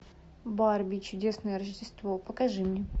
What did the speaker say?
барби чудесное рождество покажи мне